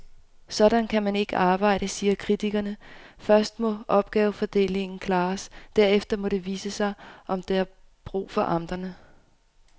Sådan kan man ikke arbejde, siger kritikerne, først må opgavefordelingen klares, derefter må det vise sig, om der er brug for amterne.